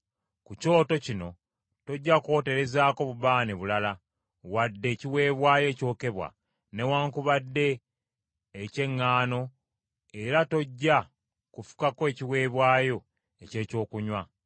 Ku kyoto kino tojja kwoterezaako bubaane bulala, wadde ekiweebwayo ekyokebwa, newaakubadde eky’eŋŋaano era tojja kufukako ekiweebwayo eky’ekyokunywa.